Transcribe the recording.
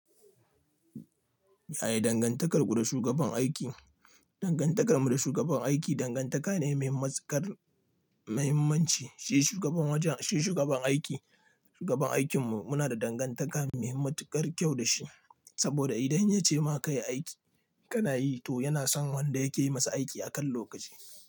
Yaya dangantakar ku da shugaban aiki? Dangantakar mu da shugaban aiki dangantaka ne mai matuƙar muhimmanci. Shi shugaban wajen, shi shugaban aiki, shugaban aikin mu muna da dangantaka mai matuƙar kyau da shi. Saboda idan ya ce ma ka yi aiki ka na yi, to yana son wanda ya ke masa aiki a kan lokaci.